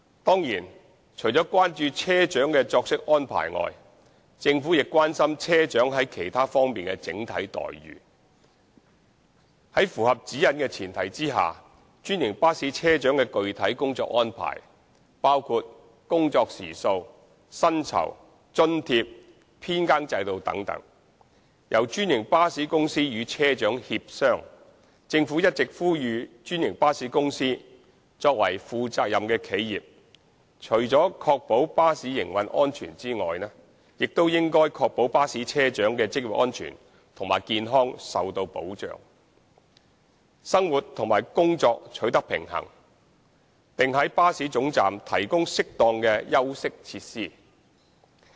當然，除了關注車長的作息安排外，政府亦關心車長在其他方面的整體待遇。在符合《指引》的前提下，專營巴士車長的具體工作安排由專營巴士公司與車長協商。政府一直呼籲專營巴士公司作為負責任的企業，除了需要保障巴士營運安全外，亦應確保巴士車長的職業安全和健康受到保障，生活和工作取得平衡，並在巴士總站提供適當的休息設施。